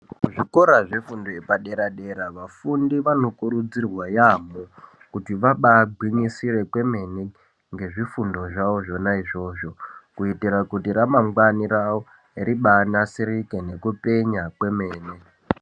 Kuzvikora zvefundo yepadera-dera vafundi vanokurudzirwa yaamho kuti vabagwinyisire ngezvifundo zvawo zvona izvozvo kuitira kuti ramangwani rawo ribanasirike nekupenya kwemene.